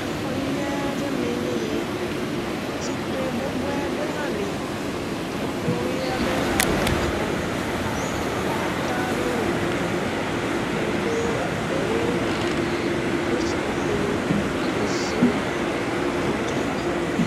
Exɔ nyui aɖe mee nye eyi, zikpui bɔbɔe aɖe li, ekplɔ ʋi aɖe le xɔa me, nɔnɔmetata aɖewo le glia ŋu, wodo egbewo kple seƒoƒowo ɖe zawo me eɖo atsyɔ̃ na xɔ mee.